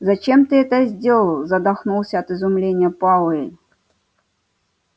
зачем ты это сделал задохнулся от изумления пауэлл